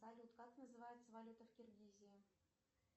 салют как называется валюта в киргизии